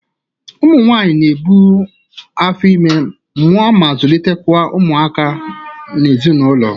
Ụmụ nwaanyị na-ebu afọ ime, mụa ma zulite kwa ụmụaka n'ezinaụlọ.